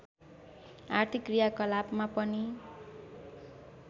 आर्थिक क्रियाकलापमा पनि